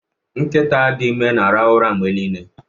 Nkịta dị ime na-ehi ụra mgbe niile.